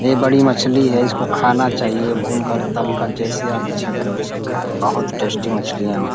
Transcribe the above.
ये बड़ी मछली है इसको खाना चाहिए भून कर तल कर जैसे आप इच्छा करे वैसे खाएं। बहोत टेस्टी मछलियाँ हो --